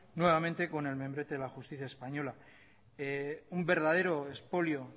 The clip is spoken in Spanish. nuevamente con el membrete de la justicia española un verdadero expolio